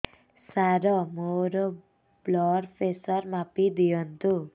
ସାର ମୋର blood pressure ମାପି ଦିଅନ୍ତୁ